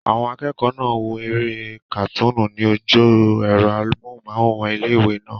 Àwọn akẹ́kọ̀ọ́ náà n wo eré kàtúnú ní ojú ẹ̀rọ amóhùnmáwòrán ilé-ìwé náà